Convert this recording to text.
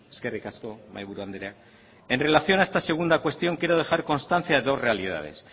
eskerrik asko mahaiburu andrea en relación a esta segunda cuestión quiero dejar constancia de dos realidades